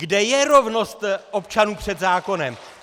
Kde je rovnost občanů před zákonem?